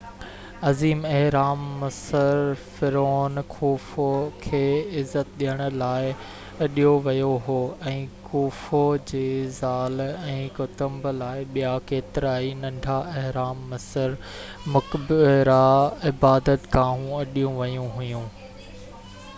عظيم اهرام مصر فرعون خوفو کي عزت ڏيڻ لاءِ اڏيو ويو هو ۽ خوفو جي زال ۽ ڪٽنب لاءِ ٻيا ڪيترائي ننڍا اهرام مصر مقبرا عبادت گاهون اڏيون ويون هيون